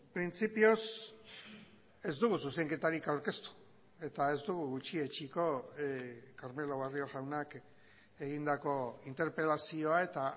printzipioz ez dugu zuzenketarik aurkeztu eta ez dugu gutxietsiko carmelo barrio jaunak egindako interpelazioa eta